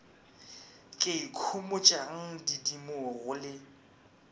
ke ikhomotšang didimo go le